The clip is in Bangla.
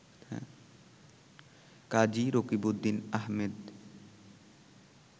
কাজী রকিবউদ্দিন আহমেদ